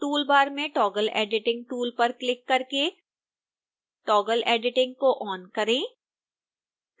tool bar में toggle editing tool पर click करके toggle editing को ऑन करें